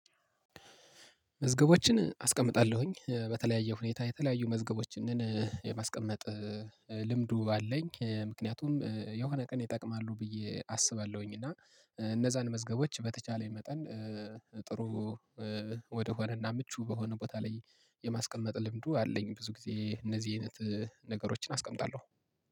መዝገቦችን አስቀምጣለሁኝ በተለያየ ሁኔታ የተለያዩ መዝገቦችን የማስቀመጥ ልምዱ አለኝ ምክንያቱም የሆነ ቀን ይጠቅማሉ ብዬ አስባለሁኝ። እና እነዛን መዝገቦች በተቻለኝ መጠን ጥሩ ወደ ሆነና ምቹ በሆነ ቦታ ላይ የማስቀመጥ ልምዱ አለኝ። ብዙ ጊዜ እነዚህ አይነት ነገሮችን አስቀምጣለሁ